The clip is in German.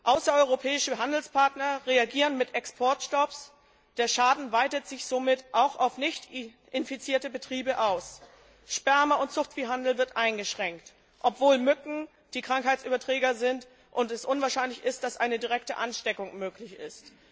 Außereuropäische Handelspartner reagieren mit Exportstopps, der Schaden weitet sich somit auch auf nichtinfizierte Betriebe aus. Sperma und Zuchtviehhandel werden eingeschränkt, obwohl Mücken die Krankheitsüberträger sind und es unwahrscheinlich ist, dass eine direkte Ansteckung möglich ist.